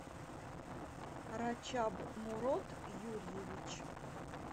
рачаб мурод юрьевич